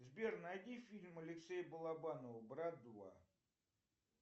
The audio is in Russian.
сбер найди фильм алексея балабанова брат два